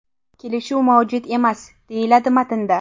Kelishuv mavjud emas!” deyiladi matnda.